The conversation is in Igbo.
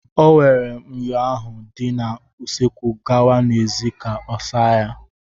O were myọ ahụ dị na usekwu gawa n'èzí ka ọ saa ya.